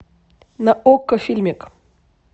на окко фильмик